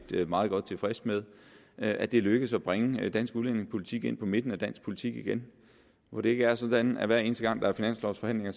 meget godt tilfreds med at det er lykkedes at bringe dansk udlændingepolitik ind på midten af dansk politik igen hvor det ikke er sådan at hver eneste gang der er finanslovsforhandlinger